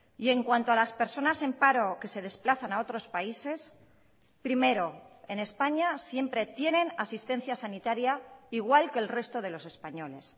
y en cuanto a las personas en paro que se desplazan a otros países primero en españa siempre tienen asistencia sanitaria igual que el resto de los españoles